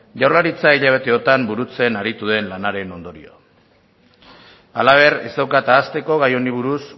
jaurlaritza hilabeteotan burutzen aritu den lanaren ondorio halaber ez daukat ahazteko gai honi buruz